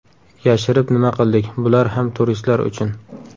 Yashirib nima qildik bular ham turistlar uchun.